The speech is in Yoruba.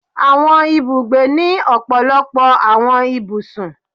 Awọn Ibúgbe ni ọpọlọpọ awọn ibúsùn